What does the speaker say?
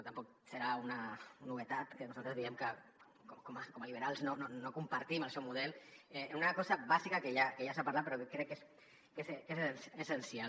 tampoc serà una novetat que nosaltres diguem que com a liberals no compartim el seu model en una cosa bàsica que ja s’ha parlat però que crec que és essencial